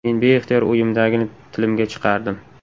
Men beixtiyor o‘yimdagini tilimga chiqardim.